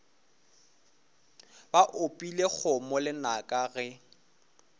ba opile kgomo lenaka ge